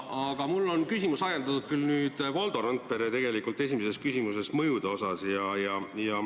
Aga minu küsimus on ajendatud Valdo Randpere esimesest küsimusest mõjude kohta.